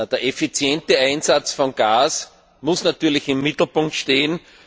Der effiziente Einsatz von Gas muss natürlich im Mittelpunkt stehen.